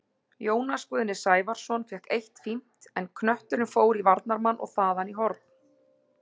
Jónas Guðni Sævarsson fékk eitt fínt, en knötturinn fór í varnarmann og þaðan í horn.